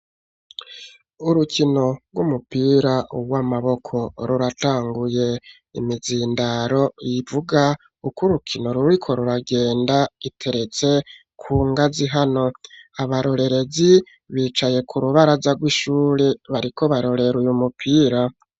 urukino rw'umupira w'amaboko ruratanguye imizindaro yivuga uko urukino ruriko ruragenda iteretse ku ngazi hano abarorerezi bicaye ku rubaraza rw'ishuri bariko barorere uyu mupira